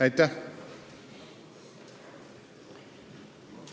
Aitäh!